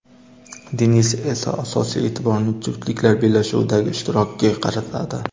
Denis esa asosiy e’tiborini juftliklar bellashuvidagi ishtirokiga qaratadi.